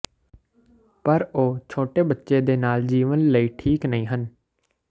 ਪਰ ਉਹ ਛੋਟੇ ਬੱਚੇ ਦੇ ਨਾਲ ਜੀਵਨ ਲਈ ਠੀਕ ਨਹੀ ਹਨ